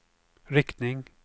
riktning